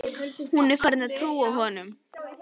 Hún er farin að trúa honum.